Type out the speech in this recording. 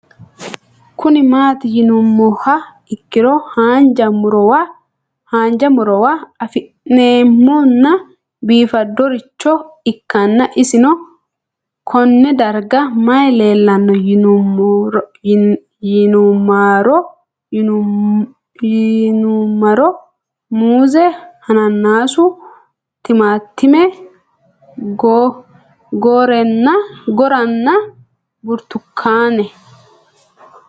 Kuni mati yinumoha ikiro hanja murowa afine'mona bifadoricho ikana isino Kone darga mayi leelanno yinumaro muuze hanannisu timantime gooranna buurtukaane